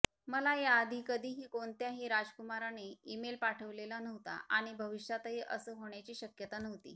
मला याआधी कधीही कोणत्याही राजकुमाराने इमेल पाठवलेला नव्हता आणि भविष्यातही असं होण्याची शक्यता नव्हती